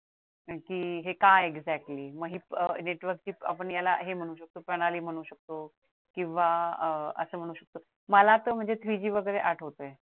कारण कि हे काय आहे exactly म हे network ची आपण याला प्रणाली म्हणू शकतो किंवा असं म्हणू शकतो मला तर म्हणजेच three G वगैरे आठवतंय